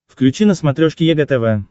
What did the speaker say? включи на смотрешке егэ тв